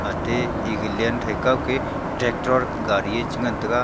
ate egalancethe kawke tractor gadi e chigan taiga.